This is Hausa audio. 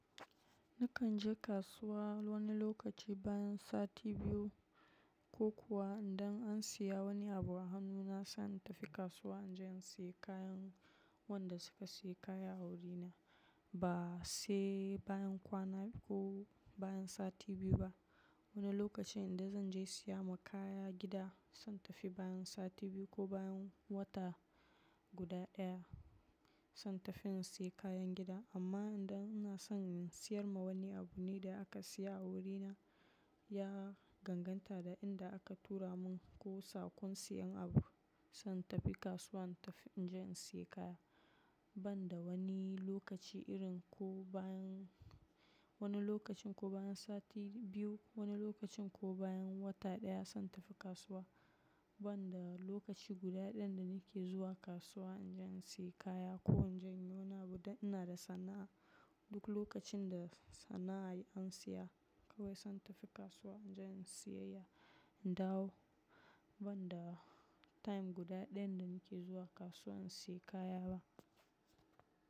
Nakan je kasuwa wani lokaci bayan sati biyu ko kuwa idan an siya wani abu a hannu na, na san na tafi kasuwa anje in siya kayan wanda suka siya kaya a wurina. Ba sai bayan kwana biyu ko bayan sati biyu ba. Wani lokaci idan zan je siya ma kaya gida, zan tafi bayan sati biyu ko bayan wata guda daya. Zan tafi in siya kayan gida. Amma idan ina son in siyar ma wani abu ne da aka siya a wurina, ya danganta da inda aka tura mun ko sa kun siyan abu. Zan tafi kasuwa, in tafi inje in siya kaya. Ban da wani lokaci irin ko bayan wani lokacin ko bayan sati biyu, wani lokacin ko bayan wata daya zan tafi kasuwa. Ban da lokaci guda dayan dani ke zuwa kasuwa inje in siya kaya ko inje inyi wani abu dan da sana'a. Duk lokacin da sana'a an siya kawai zan tafi kasuwa inje in siyayya, in dawo. Ban da time guda dayna dana ke zuwa kasuwa in siya kaya ba.